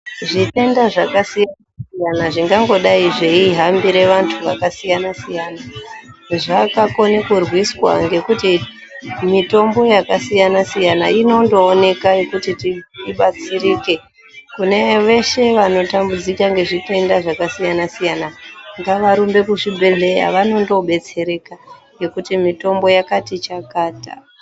Zvitenda zvakasiyana siyana zvinganodai zveihambire vanthu vakasiyana siyana zvakakone kurwiswa ngekuti mitombo yakasiyana siyana Inondooneka yekuti tibatsirike, kune veshe vano tambudzika ngezvitenda zvakasiyana siyana ngavarumbe kuzvibhehlera vanondo betsereka ngekuti mitombo yakati chakata